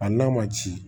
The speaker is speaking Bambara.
A n'a ma ci